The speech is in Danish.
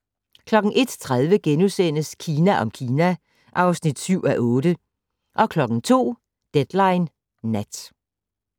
01:30: Kina om Kina (7:8)* 02:00: Deadline Nat